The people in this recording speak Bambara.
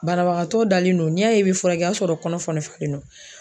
Banabagatɔ dalen don .N'i y'a ye i be furakɛ , o ya sɔrɔ kɔnɔ falen don.